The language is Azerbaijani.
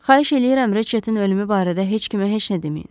Xahiş eləyirəm Riçetin ölümü barədə heç kimə heç nə deməyin.